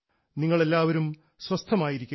നിങ്ങളെല്ലാവരും സ്വസ്ഥമായിരിക്കുക